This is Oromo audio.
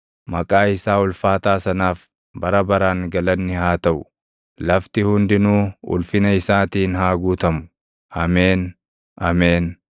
Maqaa isaa ulfaataa sanaaf bara baraan galanni haa taʼu; lafti hundinuu ulfina isaatiin haa guutamu. Ameen; Ameen.